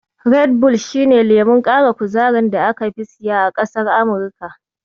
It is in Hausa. Red bull shi ne lemon ƙara kuzarin da aka fi siya a ƙasar Amurika.